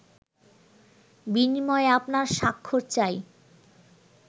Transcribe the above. বিনিময়ে আপনার স্বাক্ষর চাই